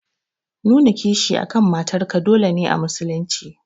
Nuna kishi akan matar ka dole ne a musulun ci.